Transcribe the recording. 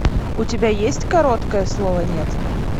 у тебя есть короткое слово нет